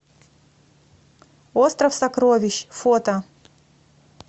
остров сокровищ фото